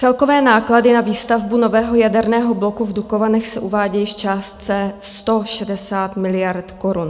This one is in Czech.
Celkové náklady na výstavbu nového jaderného bloku v Dukovanech se uvádějí v částce 160 miliard korun.